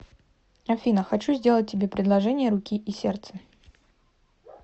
афина хочу сделать тебе предложение руки и сердца